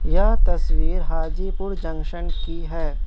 यह तस्वीर हाजीपुर जंक्शन की है।